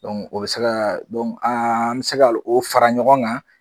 o bɛ se ka an mi se ka o fara ɲɔgɔn kan